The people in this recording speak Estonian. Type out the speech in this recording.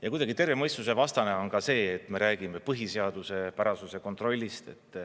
Ja kuidagi terve mõistuse vastane on ka see, et me räägime põhiseaduspärasuse kontrollist.